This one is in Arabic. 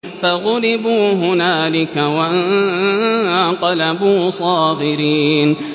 فَغُلِبُوا هُنَالِكَ وَانقَلَبُوا صَاغِرِينَ